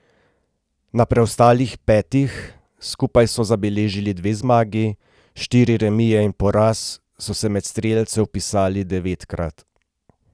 Na preostalih petih, skupaj so zabeležili dve zmagi, štiri remije in poraz, so se med strelce vpisali devetkrat.